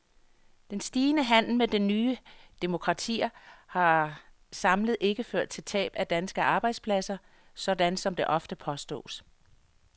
Den stigende handel med de nye demokratier har samlet ikke ført til tab af danske arbejdspladser, sådan som det ofte påstås.